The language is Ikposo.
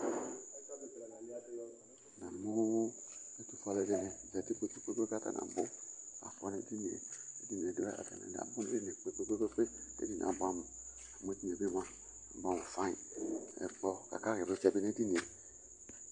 Namu etufue alu ɛdini za uti atani nabu tu ku edini yɛ abuɛamu amu edini yɛ bi mua edinie abuɛamu fayn Ɛkplɔ akaɣa ivlitsɛ bi nu edini yɛ